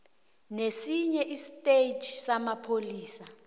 nesinye istetjhi samapholisa